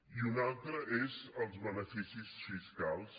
i un altre és els beneficis fiscals